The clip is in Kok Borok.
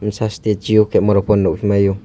sajte jiyo camera pono nogmai o.